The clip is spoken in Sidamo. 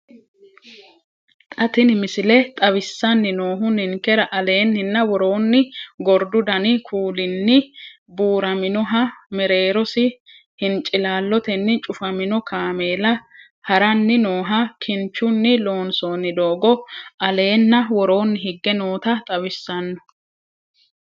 Xa tini missile xawissanni noohu ninkera aleenninna woroonni gordu dani kuulinni buuraminoha mereerosi hincilaallotenni cufamino kaameela haranni nooha, kinchunni loonsoonni doogo alenna woroonni higge noota xawissanno.